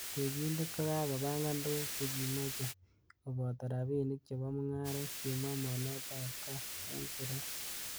'Tekindet ko kakopangan tuguk chekimoche koboto rabinik chebo mungaret,''kimwa mornetab KAA en siret